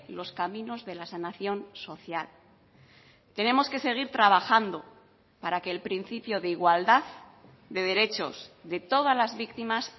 los caminos de la sanación social tenemos que seguir trabajando para que el principio de igualdad de derechos de todas las víctimas